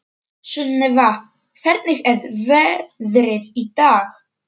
Sunnefa, hvernig er veðrið í dag?